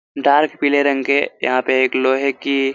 dark पिले रंग के यहाँ पे एक लोहे की--